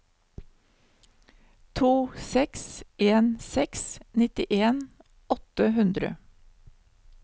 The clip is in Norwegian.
to seks en seks nittien åtte hundre